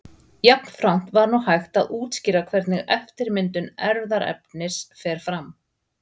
Jafnframt var nú hægt að útskýra hvernig eftirmyndun erfðaefnis fer fram.